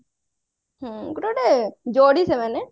ହୁଁ ଗୋଟେ ଗୋଟେ ଯୋଡି ସେମାନେ